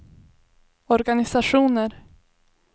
organisationer